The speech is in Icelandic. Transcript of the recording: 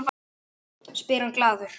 spyr hann glaður.